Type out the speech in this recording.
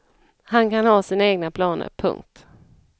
Han kan ha sina egna planer. punkt